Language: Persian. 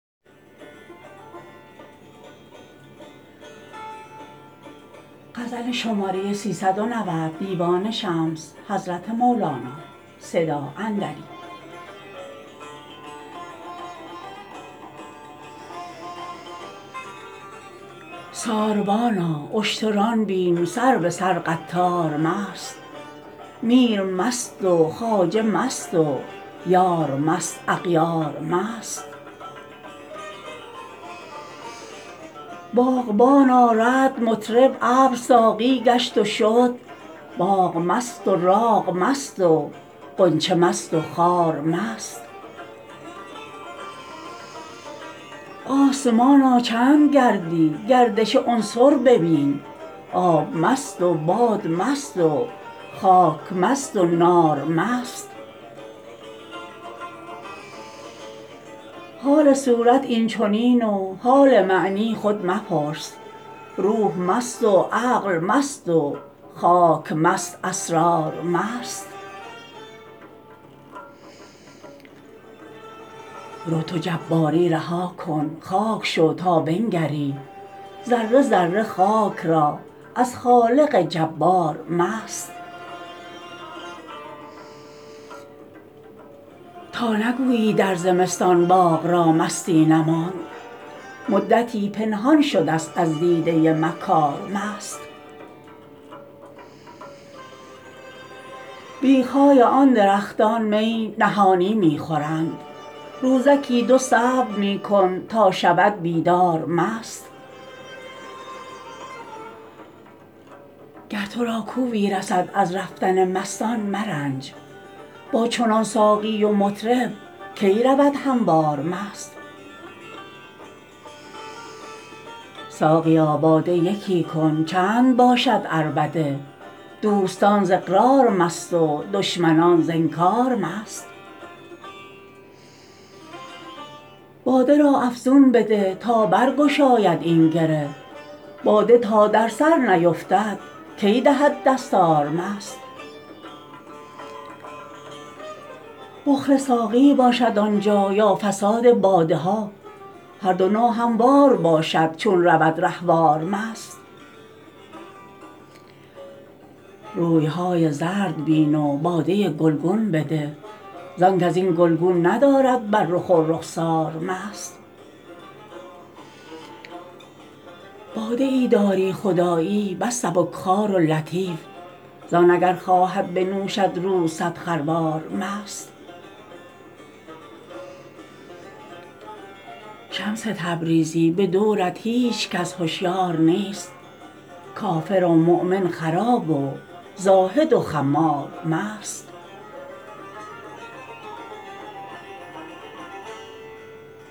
ساربانا اشتران بین سر به سر قطار مست میر مست و خواجه مست و یار مست اغیار مست باغبانا رعد مطرب ابر ساقی گشت و شد باغ مست و راغ مست و غنچه مست و خار مست آسمانا چند گردی گردش عنصر ببین آب مست و باد مست و خاک مست و نار مست حال صورت این چنین و حال معنی خود مپرس روح مست و عقل مست و خاک مست اسرار مست رو تو جباری رها کن خاک شو تا بنگری ذره ذره خاک را از خالق جبار مست تا نگویی در زمستان باغ را مستی نماند مدتی پنهان شدست از دیده مکار مست بیخ های آن درختان می نهانی می خورند روزکی دو صبر می کن تا شود بیدار مست گر تو را کوبی رسد از رفتن مستان مرنج با چنان ساقی و مطرب کی رود هموار مست ساقیا باده یکی کن چند باشد عربده دوستان ز اقرار مست و دشمنان ز انکار مست باد را افزون بده تا برگشاید این گره باده تا در سر نیفتد کی دهد دستار مست بخل ساقی باشد آن جا یا فساد باده ها هر دو ناهموار باشد چون رود رهوار مست روی های زرد بین و باده گلگون بده زانک از این گلگون ندارد بر رخ و رخسار مست باده ای داری خدایی بس سبک خوار و لطیف زان اگر خواهد بنوشد روز صد خروار مست شمس تبریزی به دورت هیچ کس هشیار نیست کافر و مؤمن خراب و زاهد و خمار مست